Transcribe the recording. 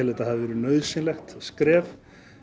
þetta hafi verið nauðsynlegt skref